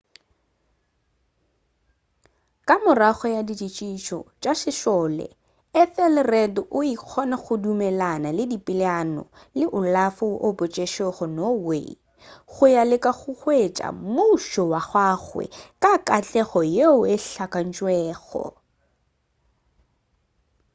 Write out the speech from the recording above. ka morago ga ditšhitišo tša sešole ethelred o ile a kgona go dumelelana le dipeelano le olaf woo a boetšego norway go ya go leka go hwetša mmušo wa gagwe ka katlego yeo e hlakantšwego